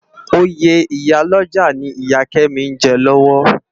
Óyé iyá lòjá ni Iyá Kemi n jè lòwò